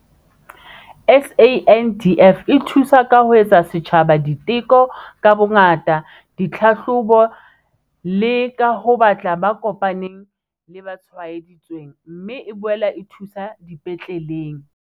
SANDF e thusa ka ho etsa setjhaba diteko ka bongata, ditlhahlobo le ka ho batla ba kopaneng le ba tshwaedi tsweng, mme e boela e thuso dipetleleng.